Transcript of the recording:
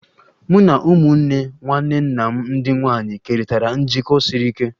Mụ na ụmụnne nwanne nna m ndị nwanyị kerịtara njikọ siri ike